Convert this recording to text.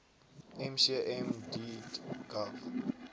mcm deat gov